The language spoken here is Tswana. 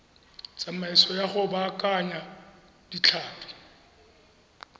tsamaiso ya go baakanya ditlhapi